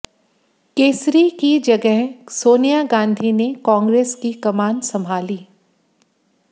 केसरी की जगह सोनिया गांधी ने कांग्रेस की कमान संभाली